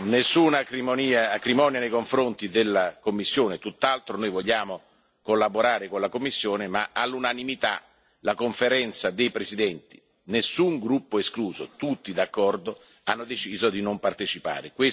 Nessuna acrimonia nei confronti della Commissione, tutt'altro noi vogliamo collaborare con la Commissione, ma all'unanimità la Conferenza dei presidenti nessun gruppo escluso, tutti d'accordo ha deciso di non partecipare.